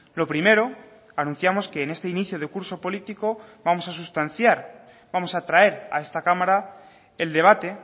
lo primero anunciamos que en este inicio de curso político vamos a sustanciar vamos a traer a esta cámara el debate